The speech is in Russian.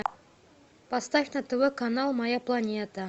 поставь на тв канал моя планета